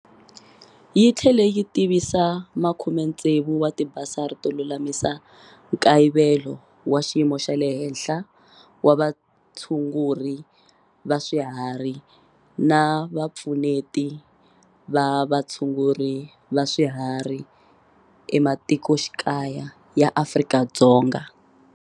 Yi tlhele yi tivisa 60 wa tibasari to lulamisa nkayivelo wa xiyimo xa le henhla wa vatshunguri va swiharhi na vapfuneti va vatshunguri va swiharhi ematikoxikaya ya Afrika-Dzonga.